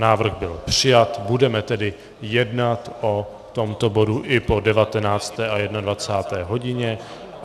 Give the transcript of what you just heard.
Návrh byl přijat, budeme tedy jednat o tomto bodu i po 19. a 21. hodině.